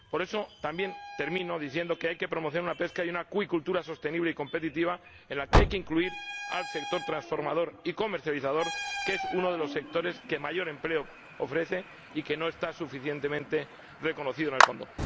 Por eso también digo que hay que promocionar una pesca y una acuicultura sostenibles y competitivas, en las que hay que incluir al sector transformador y comercializador, que es uno de los sectores que mayor empleo ofrece y que no está suficientemente reconocido en el Fondo.